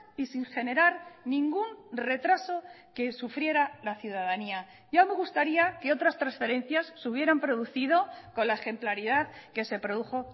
y sin generar ningún retraso que sufriera la ciudadanía ya me gustaría que otras transferencias se hubieran producido con la ejemplaridad que se produjo